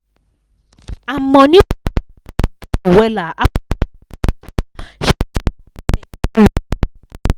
her money wahala calm down wella after her padi give am sharp sharp better loan.